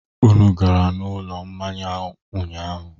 Unu gara ụlọ mmanya ụnyaahụ?